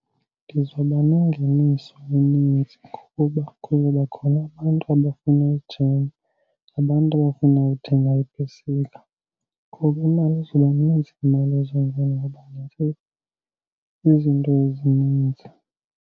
Ndizoba nengeniso eninzi kuba kuzoba khona abantu abafuna uthenga, abantu abafuna uthenga iipesika. Ngoku imali izoba nintsi, imali ezongena ngoba izinto ezininzi.